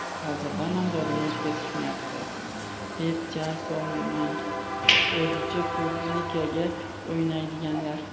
Hozirdan nomzodimni o‘tkazishmayapti, deb jar solmang o‘zicha ‘publikaga’ o‘ynaydiganlar.